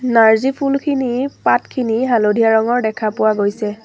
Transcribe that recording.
নাৰ্জী ফুলখিনি পাতখিনি হালধীয়া ৰঙৰ দেখা পোৱা গৈছে।